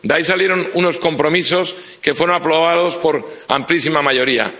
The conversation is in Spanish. De ahí salieron unos compromisos que fueron aprobados por amplísima mayoría.